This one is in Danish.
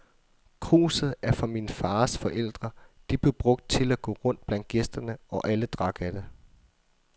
Kruset er fra min fars forældre, det blev brugt til at gå rundt blandt gæsterne, og alle drak af det.